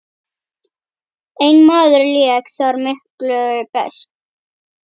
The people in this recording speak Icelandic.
Einn maður lék þar miklu best.